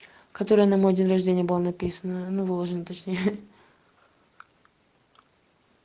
которая на мой день рождения было написано ну выложено точнее